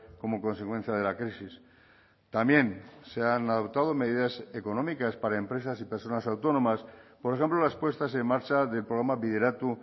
como consecuencia de la crisis también se han adoptado medidas económicas para empresas y personas autónomas por ejemplo las puestas en marcha del programa bideratu